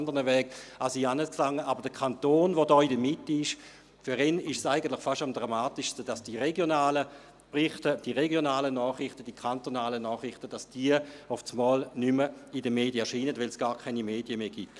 Für den Kanton, der in der Mitte ist, ist es eigentlich beinahe am dramatischsten, dass die regionalen Berichte, die regionalen, die kantonalen Nachrichten auf einmal nicht mehr in den Medien erscheinen, weil es gar keine Medien mehr gibt.